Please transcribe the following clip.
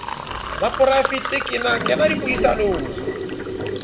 la poraevete ke na dipuisanong